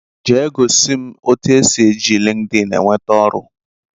Jee gosi m etu e si eji linkedin eweta oru